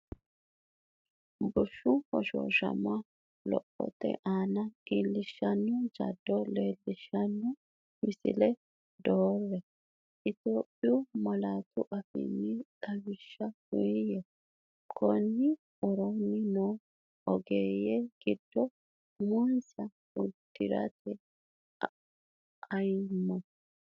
Bushshu hoshooshama lophote aana iillishshanno jaddo leellishshan misile doorre; Itophiyu malaatu afiinni xawishsha uuyye, Konni woroonni noo ogeeyye giddo uminsa uddi’rate amanyoote?